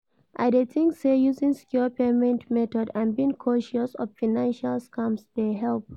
I dey think say using secure payment method and being cautious of financial scams dey help.